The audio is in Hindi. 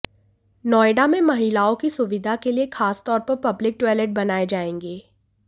नोएडा में महिलाओं की सुविधा के लिए खास तौर पर पब्लिक टॉइलट बनाए जाएंगे